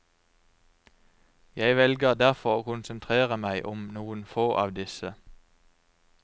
Jeg velger derfor å konsentrere meg om noen få av disse.